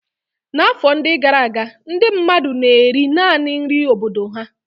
N'afọ ndị gara aga, ndị mmadụ na-eri naanị nri obodo ha.